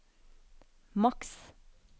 maks